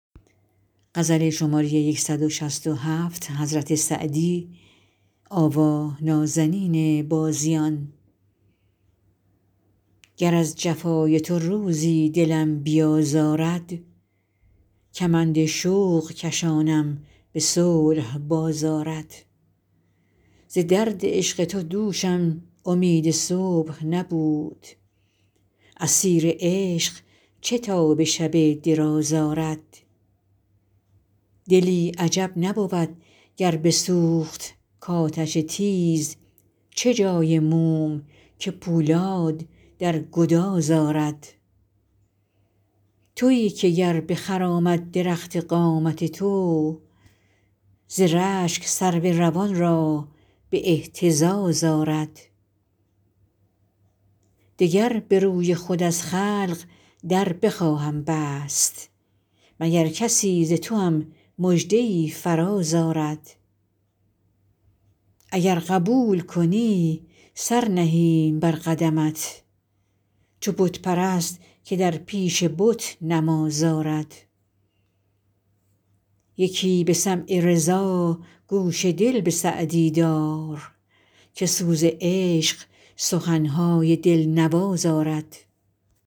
گر از جفای تو روزی دلم بیازارد کمند شوق کشانم به صلح باز آرد ز درد عشق تو دوشم امید صبح نبود اسیر عشق چه تاب شب دراز آرد دلی عجب نبود گر بسوخت کآتش تیز چه جای موم که پولاد در گداز آرد تویی که گر بخرامد درخت قامت تو ز رشک سرو روان را به اهتزاز آرد دگر به روی خود از خلق در بخواهم بست مگر کسی ز توام مژده ای فراز آرد اگر قبول کنی سر نهیم بر قدمت چو بت پرست که در پیش بت نماز آرد یکی به سمع رضا گوش دل به سعدی دار که سوز عشق سخن های دل نواز آرد